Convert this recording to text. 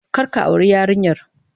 Kar ka auri yarinyar!